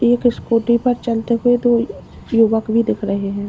एक स्कूटी पर चलते हुए दो युवक भी दिख रहे हैं।